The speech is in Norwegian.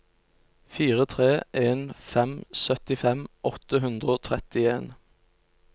fire tre en fem syttifem åtte hundre og trettien